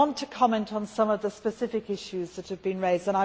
I want to comment on some of the specific issues that have been raised.